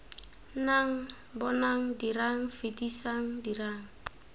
nnang bonang dirang fetisang dirang